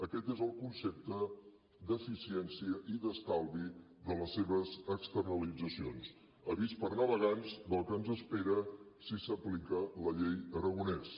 aquest és el concepte d’eficiència i d’estalvi de les seves externalitzacions avís per navegants del que ens espera si s’aplica la llei aragonès